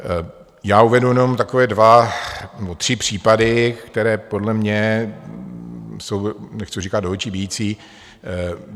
Já uvedu jenom takové dva nebo tři případy, které podle mě jsou, nechci říkat do očí bijící.